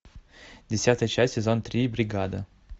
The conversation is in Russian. десятая часть сезон три бригада